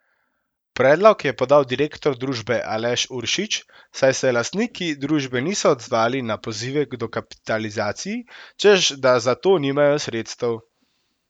Predlog je podal direktor družbe Aleš Uršič, saj se lastniki družbe niso odzvali na pozive k dokapitalizaciji, češ da za to nimajo sredstev.